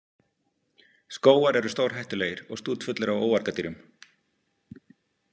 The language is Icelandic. Skógar eru stórhættulegir og stútfullir af óargadýrum